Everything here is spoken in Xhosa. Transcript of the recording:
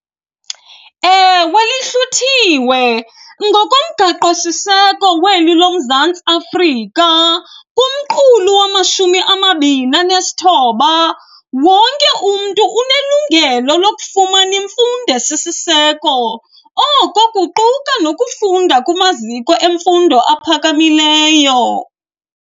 Ewe, lihluthiwe. Ngokomgaqosiseko weli loMzantsi Afrika, kumqulu wamashumi amabini anesithoba, wonke umntu unelungelo lokufumana imfundo esisiseko, oko kuquka nokufunda kumaziko emfundo aphakamileyo.